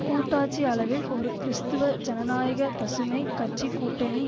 கூட்டாட்சி அளவில் ஒரு கிறிஸ்துவ ஜனநாயக பசுமை கட்சிக்கூட்டணி